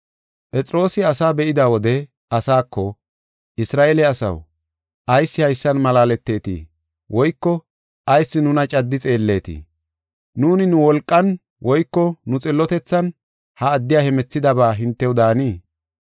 Phexroosi asaa be7ida wode asaako, “Isra7eele asaw, ayis haysan malaaletetii? Woyko ayis nuna caddi xeelletii? Nuuni nu wolqan woyko nu xillotethan ha addiya hemethidaba hintew daanii?